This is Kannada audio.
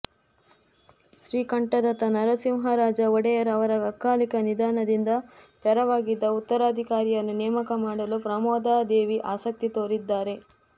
ಶ್ರೀಕಂಠದತ್ತ ನರಸಿಂಹರಾಜ ಒಡೆಯರ್ ಅವರ ಅಕಾಲಿಕ ನಿಧನದಿಂದ ತೆರವಾಗಿದ್ದ ಉತ್ತರಾಧಿಕಾರಿಯನ್ನು ನೇಮಕ ಮಾಡಲು ಪ್ರಮೋದಾದೇವಿ ಆಸಕ್ತಿ ತೋರಿದ್ದಾರೆ